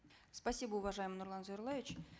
спасибо уважаемый нурлан зайроллаевич